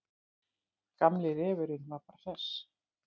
Gamli refurinn var bara hress.